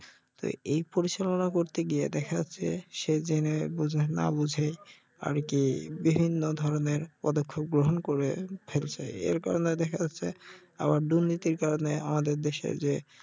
তো এই পরিচালনা করতে গিয়ে দেখা যাচ্ছে সে জেনে বুঝে না বুঝে আরকি বিভিন্ন ধরনের পদক্ষেপ গ্রহন করে ফেলছে এর কারনে দেখা যাচ্ছে আবার দুর্নীতির কারনে আমাদের দেশের যে